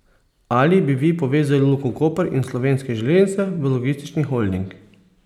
Ali bi vi povezali Luko Koper in Slovenske železnice v logistični holding?